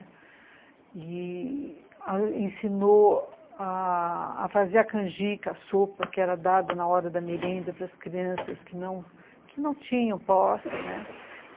E ela ensinou a fazer a canjica, a sopa, que era dada na hora da merenda para as crianças que não que não tinham posse, né.